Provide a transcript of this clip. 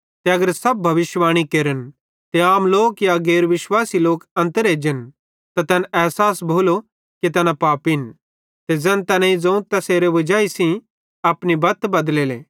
ते अगर सब भविष्यिवाणी केरन ते आम लोक या गैर विश्वासी लोक अन्तर एजन त तैन एसास भोलो कि तैना पापिन ते ज़ैन तैनेईं ज़ोवं तैसेरे वजाई सेइं अपनी बत बदलेले